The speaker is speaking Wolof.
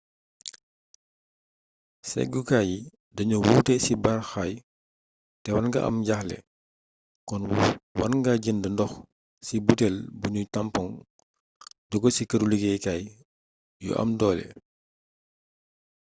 séggukaay yi dañoo wuute ci baaxaay té war nga am jaaxle kon war nga jënd ndox ci butel buñu tampoŋ joggé ci këru liggéey kay yu am doole